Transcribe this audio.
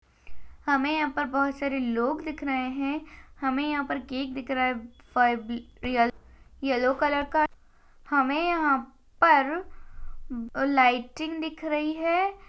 हमें यहाँ पर बहोत सारे लोग दिख रहे है हमें यहाँ पर केक दिख रहा है फा-इ-ब-रियल येलो कलर का हमें यहाँ पर लाइटिंग दिख रही है।